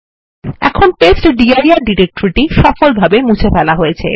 এখন টেস্টডির ডিরেক্টরি সফলভাবে মুছে ফেলা হয়েছে